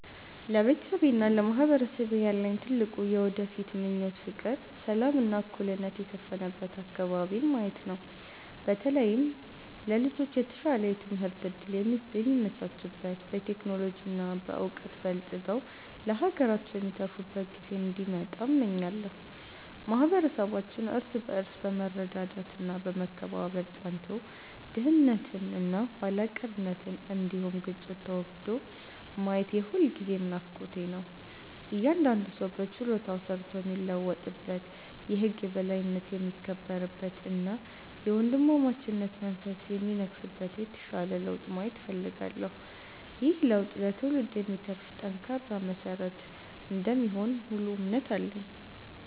ለቤተሰቤና ለማህበረሰቤ ያለኝ ትልቁ የወደፊት ምኞት ፍቅር፣ ሰላም እና እኩልነት የሰፈነበት አከባቢን ማየት ነው። በተለይም ለልጆች የተሻለ የትምህርት እድል የሚመቻችበት፣ በቴክኖሎጂ እና በዕውቀት በልጽገው ለሀገራቸው የሚተርፉበት ጊዜ እንዲመጣ እመኛለሁ። ማህበረሰባችን እርስ በርስ በመረዳዳት እና በመከባበር ጸንቶ፣ ድህነት እና ኋላ ቀርነት እንዲሁም ግጭት ተወግዶ ማየት የሁልጊዜም ናፍቆቴ ነው። እያንዳንዱ ሰው በችሎታው ሰርቶ የሚለወጥበት፣ የህግ የበላይነት የሚከበርበት እና የወንድማማችነት መንፈስ የሚነግስበት የተሻለ ለውጥ ማየት እፈልጋለሁ። ይህ ለውጥ ለትውልድ የሚተርፍ ጠንካራ መሰረት እንደሚሆን ሙሉ እምነት አለኝ።